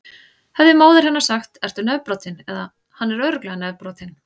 Hefði móðir hennar sagt: Ertu nefbrotinn? eða: Hann er örugglega nefbrotinn.